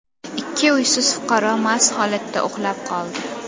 Ikki uysiz fuqaro mast holatda uxlab qoldi.